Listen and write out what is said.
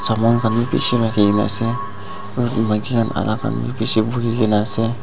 saman khan bi bishi rakhi kene ase aru etu maiki khan alak khan bi bishi bukhi kene ase.